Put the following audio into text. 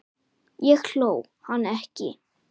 Ég hló, hann ekki.